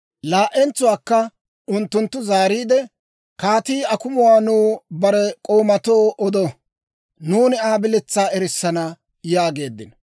Laa"entsuwaakka unttunttu zaariide, «Kaatii akumuwaa nuw bare k'oomatoo odo; nuuni Aa biletsaa erissana» yaageeddino.